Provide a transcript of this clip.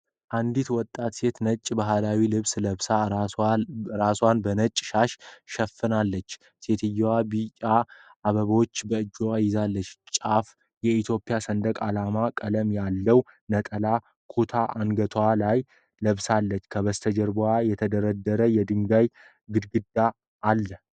አንዲት ወጣት ሴት ነጭ ባህላዊ ልብስ ለብሳ፣ ራሷን በነጭ ሻሽ ሸፍናለች። ሴትየዋ ቢጫ አበባዎች በእጇ ይዛለች፡፡ ጫፉ የኢትዮጵያ ሰንደቅ ዓላማ ቀለም ያለው ነጠላ ኩታ አንገቷ ላይ ለብስለች። ከበስተጀርባው የተደረደረ የድንጋይ ግድግዳ አለ።